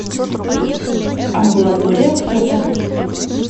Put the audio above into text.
амбулатория фото